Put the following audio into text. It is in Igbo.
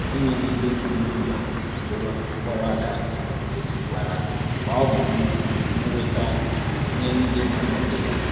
Ịn’yèrè ǹdí nọ̀ n’ùló mkpọ̀rọ̀ aka gósì kwará na ọ bụ nnùrìtā nye ǹdí na-àkwádo ya.